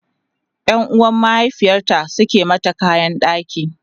Yan uwan mahaifiyarta Suka mata kayan ɗaki